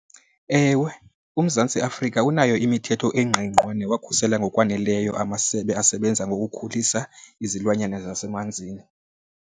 Ewe, uMzantsi Afrika unayo imithetho engqingqwa newakhuselayo ngokwaneleyo amasebe asebenza ngokukhulisa izilwanyana zasemanzini.